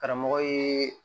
Karamɔgɔ ye